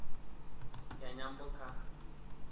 ya nyambo kha